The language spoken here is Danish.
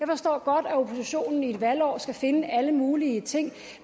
forstår at oppositionen i et valgår skal finde alle mulige ting